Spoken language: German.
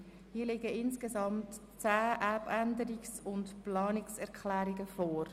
Hierzu liegen insgesamt zehn Abänderungsanträge und Planungserklärungen vor.